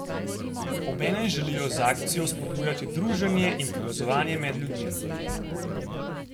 Obenem želijo z akcijo vzpodbujati druženje in povezovanje med ljudmi.